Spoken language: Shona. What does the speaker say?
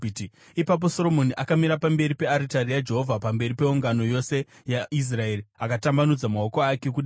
Ipapo Soromoni akamira pamberi pearitari yaJehovha pamberi peungano yose yaIsraeri, akatambanudza maoko ake kudenga,